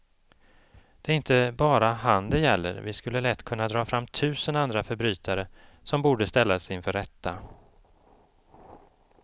Det är inte bara han det gäller, vi skulle lätt kunna dra fram tusen andra förbrytare som borde ställas inför rätta.